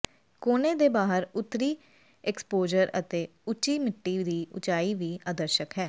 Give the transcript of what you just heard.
ਕੋਨੇ ਦੇ ਬਾਹਰ ਉੱਤਰੀ ਐਕਸਪੋਜਰ ਅਤੇ ਉੱਚੀ ਮਿੱਟੀ ਦੀ ਉਚਾਈ ਵੀ ਆਦਰਸ਼ਕ ਹੈ